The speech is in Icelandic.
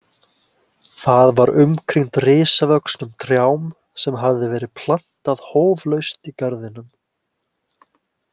Það var umkringt risavöxnum trjám sem hafði verið plantað hóflaust í garðinum.